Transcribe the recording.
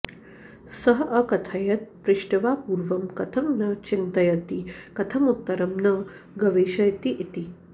सः अकथयत् पृष्ट्वा पूर्वं कथं न चिन्तयति कथं उत्तरं न गवेषयति इति